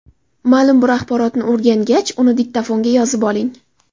Ma’lum bir axborotni o‘rgangach, uni diktofonga yozib oling.